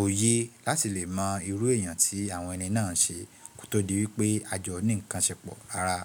òye láti lè mọ irú èèyàn tí àwọn ẹni náà ń ṣe kó tó di wípé àjọ ní ǹkan ṣẹpọ̀ rárá.